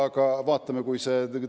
Aga vaatame!